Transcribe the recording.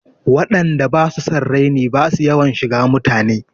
Waɗan da basu son raini basu yawan shiga mutane.